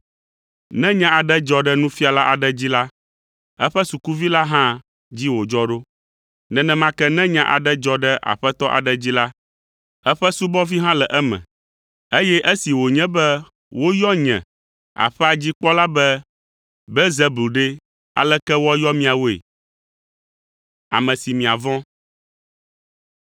Ne nya aɖe dzɔ ɖe nufiala aɖe dzi la, eƒe sukuvi la hã dzi wòdzɔ ɖo. Nenema ke ne nya aɖe dzɔ ɖe Aƒetɔ aɖe dzi la, eƒe subɔvi hã le eme, eye esi wònye be woyɔ nye, Aƒea dzi kpɔla be Belzebul ɖe, aleke woayɔ miawoe?